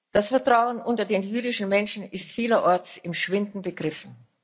Das Vertrauen unter den jüdischen Menschen ist vielerorts im Schwinden begriffen.